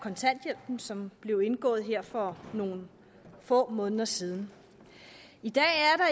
kontanthjælpen som blev indgået her for nogle få måneder siden i dag